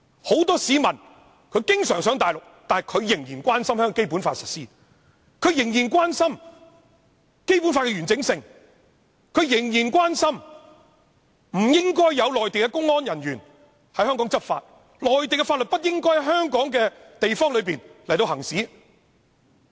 很多經常往內地的人仍然關心《基本法》的實施、仍然關心《基本法》的完整性、仍然關心不應有內地公安人員在香港執法，內地的法律不應在香港範圍內行使。